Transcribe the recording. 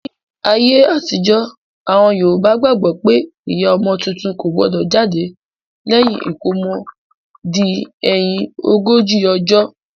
Ní ayé àtijọ́, àwọn Yorùbá gbàgbó pé ìyá ọmọ tuntun kò gbọdọ̀ jáde lẹ́yìn ìkómọ di ẹ̀yin ogójì ọjọ́